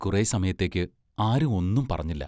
കുറേ സമയത്തേക്ക് ആരും ഒന്നും പറഞ്ഞില്ല.